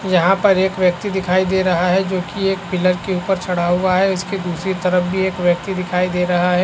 यहाँ पर एक व्यक्ति दिखाई दे रहा है जो कि एक पिलर के ऊपर चढ़ा हुआ है उसके दूसरी तरफ भी एक व्यक्ति दिखाई दे रहा है।